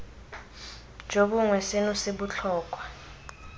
jo bongwe seno se botlhokwa